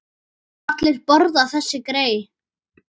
Allir borða þessi grey.